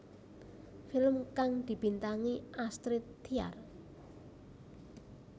Film kang dibintangi Astrid Tiar